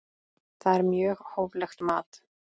Það er mjög hóflegt mat.